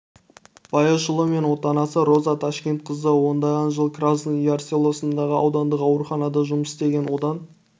баяшұлы мен отанасы роза ташкенқызы ондаған жыл красный яр селосындағы аудандық ауруханада жұмыс істеген одан